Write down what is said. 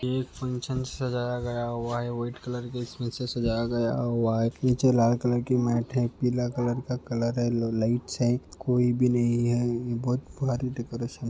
एक फंक्शन सजाया गया हुआ है वाइट कलर से इसमें सजाया गया हुआ हैं नीचे लाल कलर की मेट हैं पीला कलर का कलर हैं येलो लाइट्स कोई भी नहीं है बहुत भारी डेकोरेशन --